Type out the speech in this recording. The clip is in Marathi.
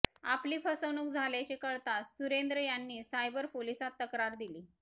आपली फसवणूक झाल्याचे कळताच सुरेंद्र यांनी सायबर पोलिसात तक्रार दिली